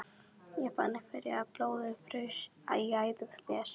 Ég fann hvernig blóðið fraus í æðum mér.